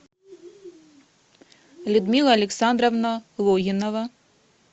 людмила александровна логинова